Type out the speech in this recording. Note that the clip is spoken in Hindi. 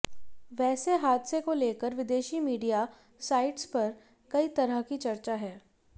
वैसे हादसे को लेकर विदेशी मीडिया साइट्स पर कई तरह की चर्चा है